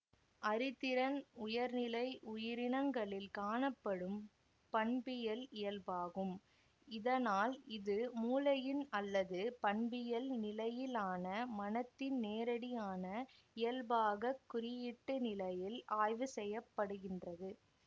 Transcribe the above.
அறிதிறன் உயர்நிலை உயிரினங்களில் காணப்படும் பண்பியல் இயல்பாகும் இதனால் இது மூளையின் அல்லது பண்பியல் நிலையிலான மனத்தின் நேரடியான இயல்பாக குறியீட்டு நிலையில் ஆய்வு செய்ய படுகின்றது